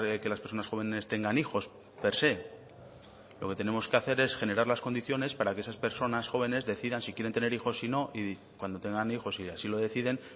que las personas jóvenes tengan hijos per se lo que tenemos que hacer es generar las condiciones para que esas personas jóvenes decidan si quieren tener hijos si no y cuando tengan hijos si así lo deciden